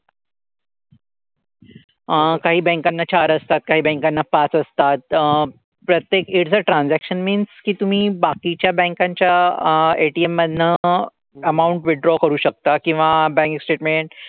अह काही banks ना चार असतात. काही banks ना पाच असतात. तर प्रत्येक in fact transaction means की तुम्ही बाकीच्या banks च्या ATM मधनं amount withdraw करू शकता किंवा bank statement,